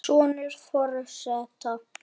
Sonur forseta